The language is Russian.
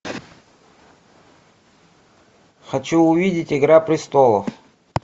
хочу увидеть игра престолов